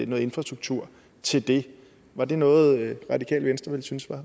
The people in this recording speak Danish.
noget infrastruktur til det var det noget radikale venstre ville synes